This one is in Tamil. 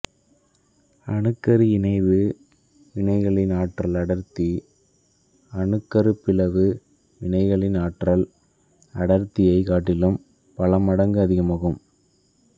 அணுக்கரு இணைவு வினைகளின் ஆற்றல் அடர்த்தி அணுக்கருப்பிளவு வினைகளின் ஆற்றல் அடர்த்தியைக் காட்டிலும் பல மடங்கு அதிகமாகும்